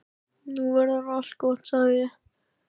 Nú verður allt gott, sagði ég.